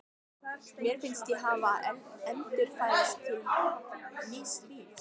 Mér fannst ég hafa endurfæðst til nýs lífs.